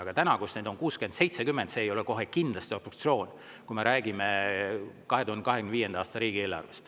Aga täna, kus neid on 60–70, ei ole see kohe kindlasti obstruktsioon, kui me räägime 2025. aasta riigieelarvest.